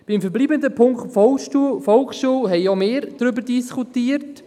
Über den verbleibenden Punkt zur Volksschule haben auch wir diskutiert;